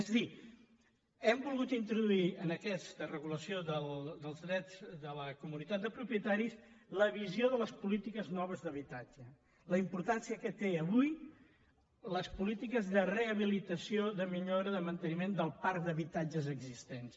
és a dir hem volgut introduir en aquesta regulació dels drets de la comunitat de propietaris la visió de les polítiques noves d’habitatge la importància que tenen avui les polítiques de rehabilitació de millora de manteniment del parc d’habitatges existents